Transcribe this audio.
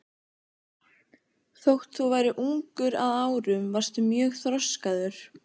Þótt þú værir ungur að árum varstu mjög þroskaður.